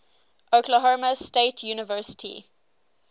oklahoma state university